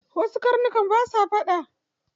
Wasu karnuka ba sa faɗa.